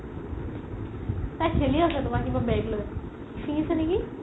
তাই খেলি আছে তুমাৰ কিবা bag লই ছিঙিচে নেকি